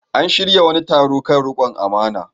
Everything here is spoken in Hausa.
An shirya wani taro kan riƙon amana.